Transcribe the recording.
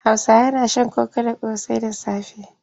Hausawa na shan koko da ƙosai da safe.